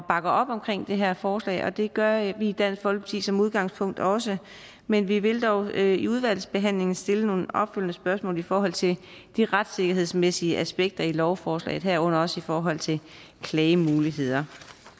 bakker op omkring det her forslag og det gør vi i dansk folkeparti som udgangspunkt også men vi vil dog i udvalgsbehandlingen stille nogle opfølgende spørgsmål i forhold til de retssikkerhedsmæssige aspekter i lovforslaget herunder også i forhold til klagemuligheder